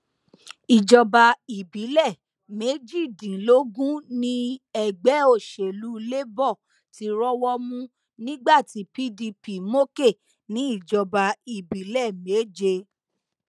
ìjọba ìbílẹ méjìdínlógún ni ẹgbẹ òsèlú labour ti rọwọ mú nígbà tí pdp mókè ní ìjọba ìbílẹ méje